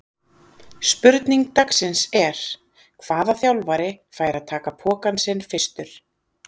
Spurning dagsins er: Hvaða þjálfari fær að taka pokann sinn fyrstur?